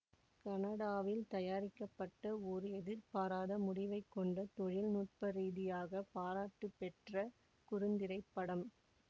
கனடாவில் தயாரிக்கப்பட்ட ஒரு எதிர்பாராத முடிவைக் கொண்ட தொழில் நுட்ப ரீதியாக பாராட்டுப்பெற்ற குறுந்திரைப்படம்